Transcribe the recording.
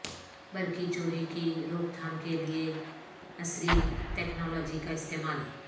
برقی چوری کی روک تھام کے لیے عصری تکنالوجی کا استعمال